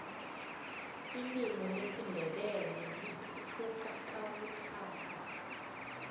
ilimu lesindebele lithuthuka kabuthaka